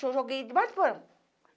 Joguei debaixo do porão